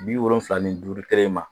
Bi wolonwula ni duuru kelen in ma